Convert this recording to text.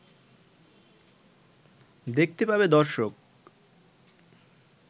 দেখতে পাবে দর্শক